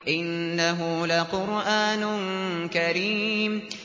إِنَّهُ لَقُرْآنٌ كَرِيمٌ